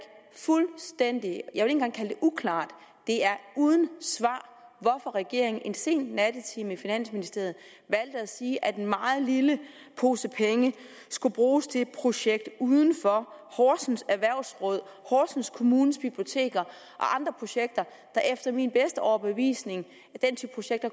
fuldstændig engang kalde det uklart uden svar hvorfor regeringen i en sen nattetime i finansministeriet valgte at sige at en meget lille pose penge skulle bruges til projekt udenfor horsens erhvervsråd horsens kommunes biblioteker og andre projekter der efter min bedste overbevisning